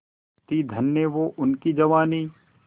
थी धन्य वो उनकी जवानी